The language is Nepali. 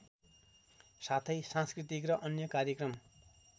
साथै सांस्कृतिक र अन्य कार्यक्रम